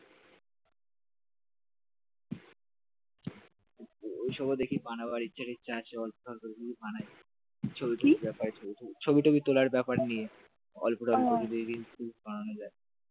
ওইসব দেখি বানাবার ইচ্ছা তীছা আছে, অল্প স্বল্প বানায় ছবি টবি ব্যাপার ছবি টবি তোলার ব্যাপার নিয়ে অল্প টল্প রিলস ফিলিস বানানো যায়